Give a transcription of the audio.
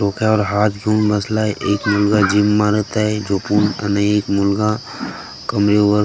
डोक्यावर हात घेऊन बसलाय एक मुलगा जिम मारत आहे झोपून आणि एक मुलगा कमरेवर --